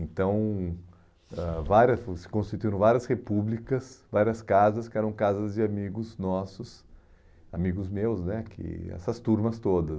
Então, ãh várias, se constituíram várias repúblicas, várias casas, que eram casas de amigos nossos, amigos meus né, que essas turmas todas.